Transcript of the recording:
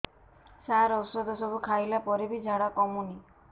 ସାର ଔଷଧ ସବୁ ଖାଇଲା ପରେ ବି ଝାଡା କମୁନି